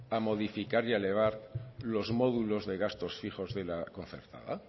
a modificar y a elevar los módulos de gastos fijos de la concertada